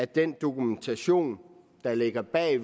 den dokumentation der ligger bag